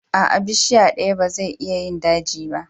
Aa, bishiya daya ba zai iya yin daji ba.